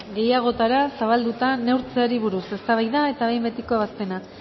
gehiagotara zabalduta neurtzeari buruz eztabaida eta behin betiko ebazpena